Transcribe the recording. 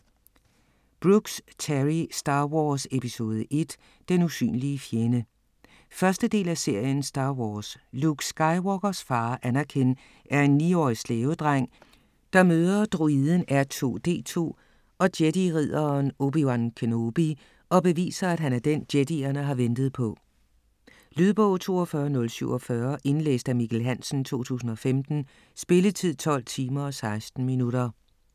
Brooks, Terry: Star Wars, episode 1: den usynlige fjende 1. del af serien Star Wars. Luke Skywalkers far, Anakin, er en niårig slavedreng, der møde droiden R2-D2 og jedi-ridderen Obi-Wan Kenobi, og beviser, at han er den, jedierne har ventet på. Lydbog 42047 Indlæst af Mikkel Hansen, 2015. Spilletid: 12 timer, 16 minutter.